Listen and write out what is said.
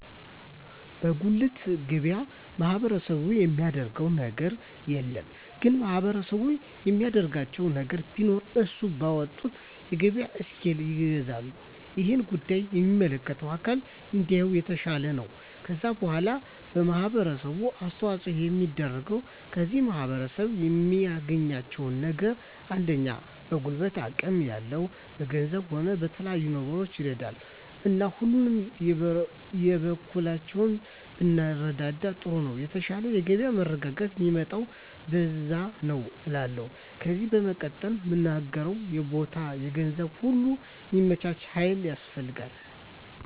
በጉልት ገበያ ማህበረሰቡ የሚያደረገው ነገር የለም ግን ማህበረሰቡ የሚያደርግላቸው ነገር ቢኖር እነሱ ባወጡት የገበያ እስኪል ይገዛል እሄን ጉዳይ የሚመለከተው አካል እንዲያየው የተሻለ ነው ከዛ በዋላ ማህበረሰቡ አስተዋጽኦ የሚያደርገው ከዚህ ማህረሰብ የሚያደርጋቸው ነገሮች አንደኛ በጉልበት አቅም ያለው በገንዘቡም ሆነ በተለያዩ ነገሮች ይረዳል እና ሁላችንም የበኩላችንን ብንረዳዳ ጥሩ ነው የተሻለ የገበያ መረጋጋት ሚመጣው በዛ ነዉ እላለሁ ከዜ በመቀጠል ምናገረው የቦታ የገንዘብ ነገር ሁሉ ሚመቻች ሀይል ያስፈልጋል